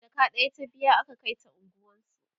jaka ɗaya ta biya aka Kai ta unguwansu